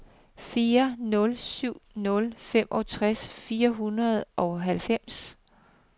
fire nul syv nul femogtres fire hundrede og halvfems